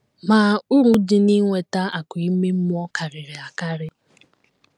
Ma, uru dị n’inweta akụ̀ ime mmụọ karịrị akarị.